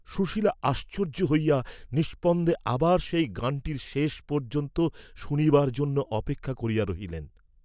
সুশীলা আশ্চর্য্য হইয়া নিস্পন্দে আবার সেই গানটির শেষ পর্য্যন্ত শুনিবার জন্য অপেক্ষা করিয়া রহিলেন।